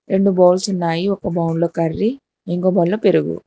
రెండు బౌల్స్ ఉన్నాయి ఒక బౌల్లో కర్రీ ఇంకొకరు పెరుగు.